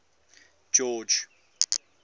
george